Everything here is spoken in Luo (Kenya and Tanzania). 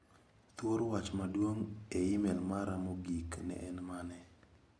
Thuor wach maduong' e imel mara mogik ne en mane?